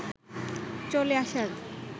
চলে আসার